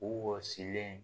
U wɔsilen